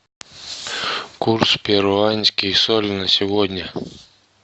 курс перуанский соль на сегодня